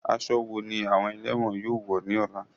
Aṣọ wo ni àwọn ẹ̀lẹ́wọ̀n yóò wọ̀ ní ọ̀la?